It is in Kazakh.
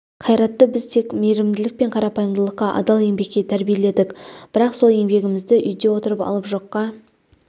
қайратты біз тек мейірімділік пен қарапайымдылыққа адал еңбекке тәрбиеледік бірақ сол еңбегімізді үйде отырып алып жоққа